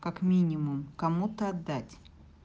как минимум кому-то отдать